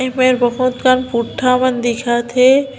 इमे बहुत कम पुट्ठा मन दिखेत हे।